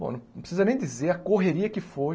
Bom, não precisa nem dizer a correria que foi.